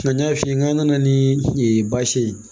Nka n y'a f'i ye n k'an nana ni baasi ye